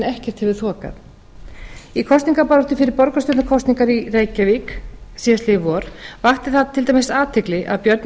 ekkert hefur þokast í kosningabaráttu fyrir borgarstjórnarkosningar i reykjavík síðastliðið vor vakti það til dæmis athygli að björn